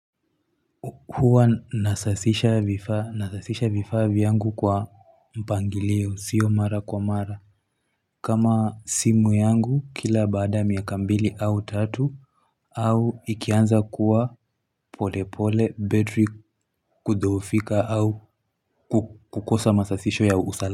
Huwa nasasisha vifa nasasisha vifa vyangu kwa mpangilio sio mara kwa mara kama simu yangu kila baada miaka mbili au tatu au ikianza kuwa pole pole battery kudhoofika au kukosa masasisho ya ustadi.